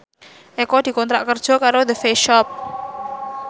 Eko dikontrak kerja karo The Face Shop